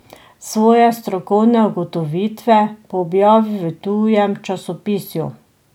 Svoje strokovne ugotovitve pa objavil v tujem časopisju.